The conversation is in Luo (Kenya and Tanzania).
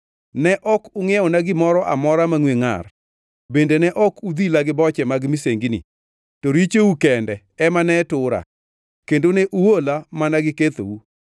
Ne ok ungʼiewona gimoro amora mangʼwe ngʼar, bende ne ok udhila gi boche mag misengini. To richou kende ema ne tura, kendo ne uola mana gi kethou.